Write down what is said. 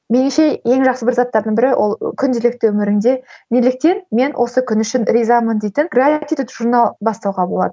меніңше ең жақсы бір заттардың бірі ол күнделікті өміріңде неліктен мен осы күн үшін ризамын дейтін журнал бастауға болады